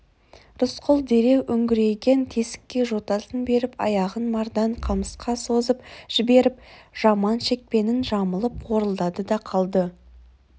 рысқұл дереу үңірейген тесікке жотасын беріп аяғын мардан қамысқа созып жіберіп жаман шекпенін жамылып қорылдады да қалды